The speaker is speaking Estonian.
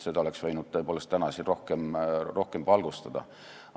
Seda oleks võinud täna siin rohkem valgustada.